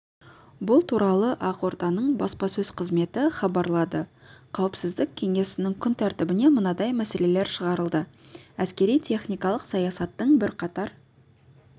бұл туралы ақорданың баспасөз қызметі хабарлады қауіпсіздік кеңесінің күн тәртібіне мынадай мәселелер шығарылды әскери-техникалық саясаттың бірқатар